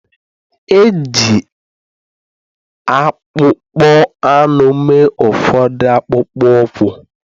E ji akpụkpọ anụ mee ụfọdụ akpụkpọ ụkwụ